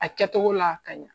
A kɛcogo la a ka ɲi.